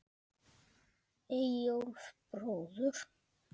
Eyjólf bróður.